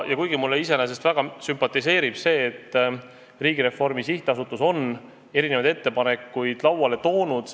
Mulle iseenesest väga sümpatiseerib see, et Riigireformi Sihtasutus on erinevaid ettepanekuid lauale toonud.